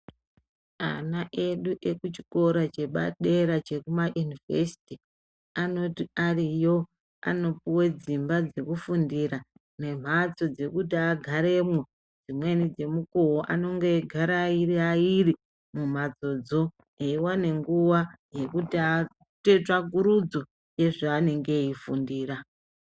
Ana edu echikuchikora chepadera chekumayunivhesiti anoti ariyo anopuwa dzimba dzekufundira nemhatso dzekuti agaremwo. Dzimweni dzemukuwo anenge eigara ari airi airi mumhatsodzo eiwane nguwa yekuti aite tsvakurudzo yezveanenge veifundira.